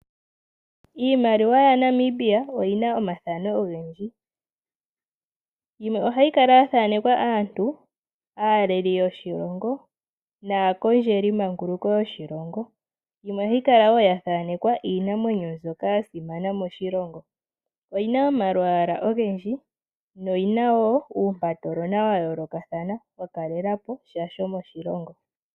Iimaliwa yaNamibia oyina omathano ogendji yimwe ohayi kala yaathanekwa aantu aaleli yoshilongo naakondjeli manguluko yoshilongo yimwe ohayi kala wo yathaanekwa iinamwenyo mbyoka yasimana moshilongo oyina omalwaala ogendji noyina wo uumpatolona wayooloka wakalela posha sho moshilongo.